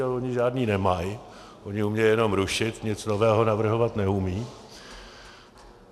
Ale oni žádné nemají, oni umějí jenom rušit, nic nového navrhovat neumějí.